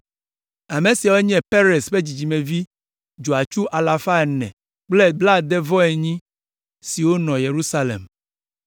Ame siawo nye Perez ƒe dzidzimevi dzɔatsu alafa ene kple blaade-vɔ-enyi (468) siwo nɔ Yerusalem.